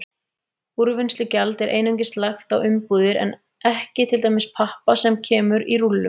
Úrvinnslugjald er einungis lagt á umbúðir en ekki til dæmis pappa sem kemur í rúllum.